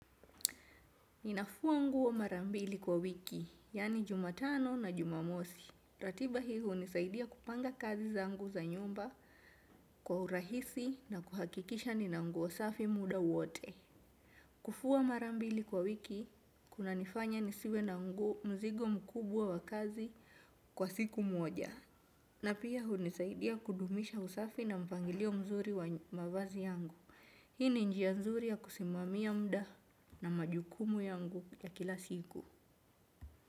Ninafua nguo marambili kwa wiki, yani jumatano na jumamosi. Ratiba hii hunisaidia kupanga kazi zangu za nyumba kwa urahisi na kuhakikisha nina nguo safi muda wote. Kufua marambili kwa wiki, kuna nifanya nisiwe na ngu mzigo mkubwa wa kazi kwa siku mwoja. Na pia hunisaidia kudumisha usafi na mpangilio mzuri wa mavazi yangu. Hii ni njia nzuri ya kusimamia muda na majukumu yangu ya kila siku.